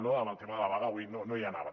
no amb el tema de la vaga avui no hi anaven